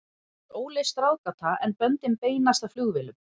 Það er óleyst ráðgáta, en böndin beinast að flugvélum.